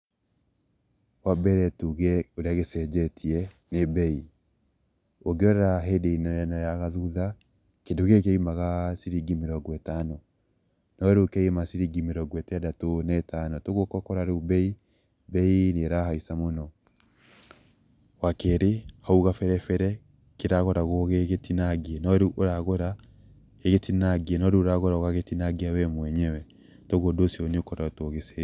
Wa mbere tuge ũrĩa gĩcenjetie nĩ mbei, ũngĩrora hĩndĩ ya ĩno ya gathutha kĩndũ gĩkĩ kĩa umaga ciringi mĩrongo ĩtano. No rĩu kĩrauma ciringi mĩrongo ĩtandatũ na ĩtano, ũgoka ũgakora rĩu mbei, mbei nĩ ĩrahaica mũno. Wa kerĩ hau kabere bere kĩragũragwo gĩgĩtinangie, no rĩu ũragũra gĩgĩtinangie, no rĩu ũragũra ũgagĩtinangia we mwenyewe koguo ũndũ ũcio nĩ ũkoretwo ũgĩcenjia.